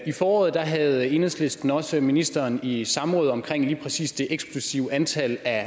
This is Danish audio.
i foråret havde enhedslisten også ministeren i samråd om lige præcis det eksplosive antal af